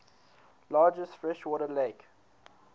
largest freshwater lake